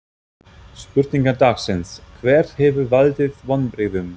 Spurningar dagsins: Hver hefur valdið vonbrigðum?